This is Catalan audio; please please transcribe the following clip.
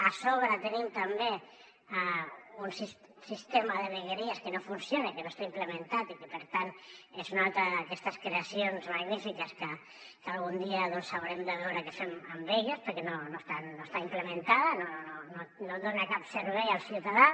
a sobre tenim també un sistema de vegueries que no funciona que no està implementat i que per tant és una altra d’aquestes creacions magnífiques que algun dia doncs haurem de veure què fem amb elles perquè no està implementada no dona cap servei al ciutadà